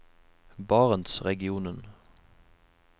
barentsregionen